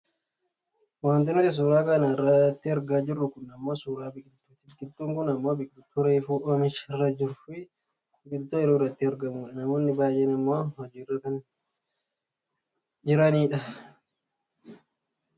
Wanti nuti suuraa kana irratti argaa jirru kun ammoo suuraa biqiltuuti. Biqiltuun kun ammoo biqiltuu reefu oomisha irra jiruu fi biqiltuu ooyiruu irratti argamudha. Namoonni baayyeen ammoo hojiirra kan jiranidha.